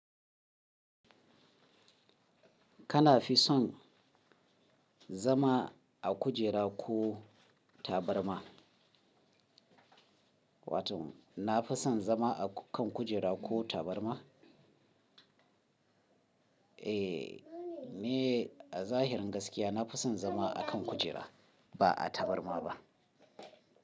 Kana fi son zama a kujera ko tabarma? Wato na fi son zama a kan kujera ko tabarma. Eh, ni a zahirin gaskiya na fi son zama a kan kujera ba a tabarma ba.